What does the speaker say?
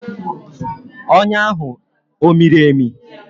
Ọnyá ahụ ọ miri emi?